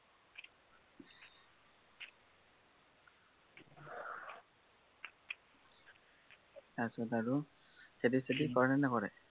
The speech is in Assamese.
তাৰপিছত আৰু খেতি চেতি কৰে নে নকৰে?